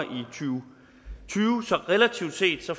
og tyve så relativt set får